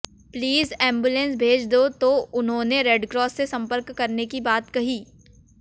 please ambulance भेज दो तो उन्होंने रेडक्रास से संपर्क करने की बात कही